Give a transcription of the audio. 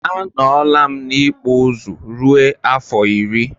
Anọlam n'ikpụ ụzụ rue afọ iri.